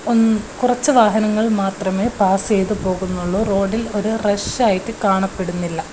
ഉം കുറച്ചു വാഹനങ്ങൾ മാത്രമേ പാസ് ചെയ്ത് പോകുന്നുള്ളൂ റോഡിൽ ഒരു റഷ് ആയിട്ട് കാണപ്പെടുന്നില്ല.